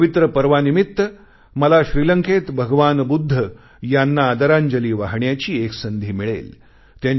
या पवित्र पर्वानिमित्त मला श्रीलंकेत भगवान बुद्ध यांना आदरांजली वाहण्याची एक संधी मिळेल